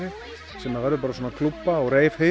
sem verður svona klúbba og